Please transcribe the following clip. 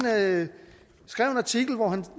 skrev en artikel hvor